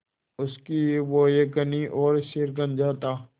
उसकी भौहें घनी और सिर गंजा था